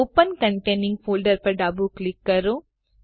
open containing folder પર ડાબું click કરો